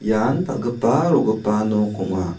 ian dal·gipa ro·gipa nok ong·a.